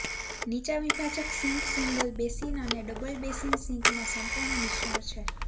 નીચા વિભાજક sink single basin અને ડબલ બેસિન સિંકના સંપૂર્ણ મિશ્રણ છે